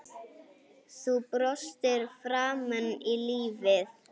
Þú brostir framan í lífið.